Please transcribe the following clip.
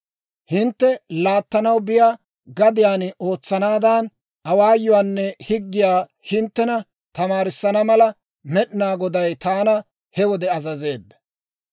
Hintte laattanaw biyaa gadiyaan ootsanaadan, awaayuwaanne higgiyaa hinttena tamaarissana mala, Med'inaa Goday taana he wode azazeedda.